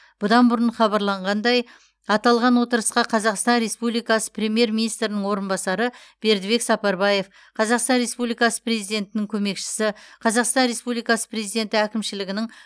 бұдан бұрын хабарланғандай аталған отырысқа қазақстан республикасы премьер министрінің орынбасары бердібек сапарбаев қазақстан республикасы президентінің көмекшісі қазақстан республикасы президенті әкімшілігінің